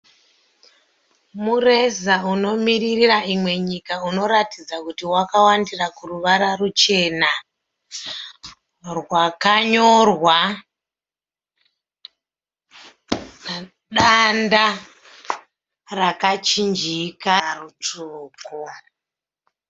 Mureza unomiririra imwe nyika uneratidza kuti wakawandira kuruchena rwakanyorwa danda rakachinjika rutsvuku.